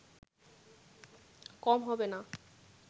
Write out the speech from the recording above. কম হবে না